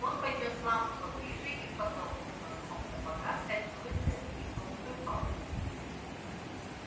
он поднёс лампу поближе и подтолкнул носком сапога стальную цепь и толстую палку